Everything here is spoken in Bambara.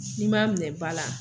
Ni m'a minɛ ba la.